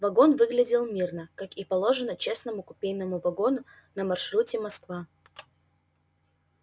вагон выглядел мирно как и положено честному купейному вагону на маршруте москва